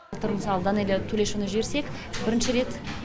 былтыр мысалы данэлия тулешованы жіберсек бірінші рет